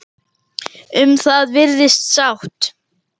Um það virðist sátt.